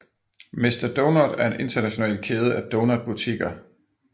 Mister Donut er en international kæde af donutbutikker